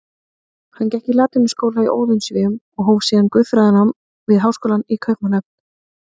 Hann gekk í latínuskóla í Óðinsvéum og hóf síðan guðfræðinám við háskólann í Kaupmannahöfn.